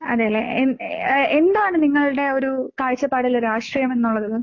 അതേല്ലേ. എൻ ഏഹ് എന്താണ് നിങ്ങളുടെ ഒരു കാഴ്ചപ്പാടില് രാഷ്ട്രീയം എന്നുള്ളത്?